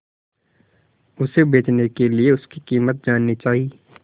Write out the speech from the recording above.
उसे बचने के लिए उसकी कीमत जाननी चाही